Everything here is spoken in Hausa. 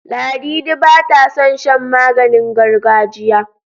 Ladidi bata son shan maganingargajiya.